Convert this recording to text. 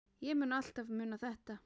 Ég mun alltaf muna þetta.